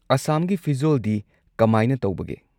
ꯑꯁꯥꯝꯒꯤ ꯐꯤꯖꯣꯜꯗꯤ ꯀꯃꯥꯏꯅ ꯇꯧꯕꯒꯦ?